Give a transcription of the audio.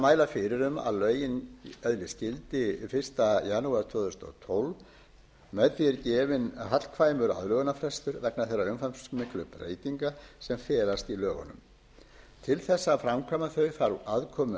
mæla fyrir um að lögin öðlist gildi fyrsta janúar tvö þúsund og tólf með því er gefinn hagkvæmur aðlögunarfrestur vegna þeirra umfangsmiklu breytinga sem felast í lögunum til þess að framkvæma þau þarf aðkomu